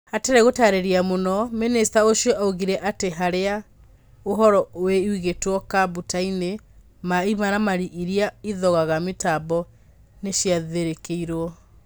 Hatarĩ gũtarĩria mũno, mĩnĩcita ũcio augĩre atĩ harĩa ũhoro ũigĩtwo kambuta-inĩ na imaramari iria ithogaga mĩtambo nĩciatharĩkĩirwo.